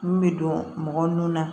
Mun bɛ don mɔgɔ nun na